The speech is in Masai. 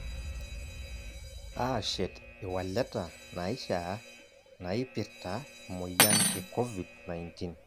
Aashet iwaleta naishaa naipirta emoyian e Covid 19